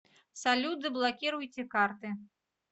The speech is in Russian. салют заблокируйте карты